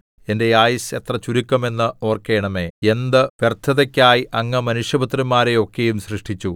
എന്റെ ആയുസ്സ് എത്രചുരുക്കം എന്ന് ഓർക്കണമേ എന്ത് വ്യർത്ഥതയ്ക്കായി അങ്ങ് മനുഷ്യപുത്രന്മാരെ ഒക്കെയും സൃഷ്ടിച്ചു